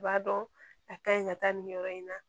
U b'a dɔn a ka ɲi ka taa nin yɔrɔ in na